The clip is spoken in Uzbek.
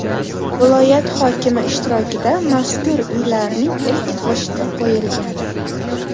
Viloyat hokimi ishtirokida mazkur uylarning ilk g‘ishti qo‘yilgan.